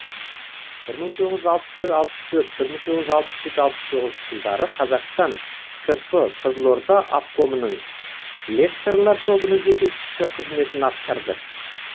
бір мың тоғыз жүз алпыс үш алпыс төрт бір мың тоғыз жүз алпыс жеті алпыс тоғызыншы жылдары қазақстан кп қызылорда обкомының лекторлар тобының жетекшісі қызметін атқарды